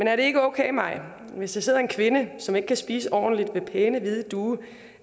er det ikke okay maj at hvis der sidder en kvinde som ikke kan spise ordentligt ved pæne hvide duge